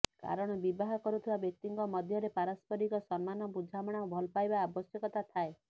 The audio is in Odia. କାରଣ ବିବାହ କରୁଥିବା ବ୍ୟକ୍ତିଙ୍କ ମଧ୍ୟରେ ପାରସ୍ପରିକ ସମ୍ମାନ ବୁଝାମଣା ଓ ଭଲପାଇବା ଆବଶ୍ୟକତା ଥାଏ